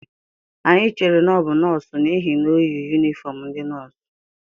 Anyị chere na ọ bụ nọọsụ n'ihi na o yi yunifọm ndị nọọsụ